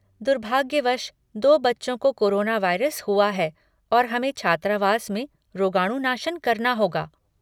दुर्भाग्यवश, दो बच्चों को कोरोना वायरस हुआ है और हमें छात्रावास में रोगाणुनाशन करना होगा।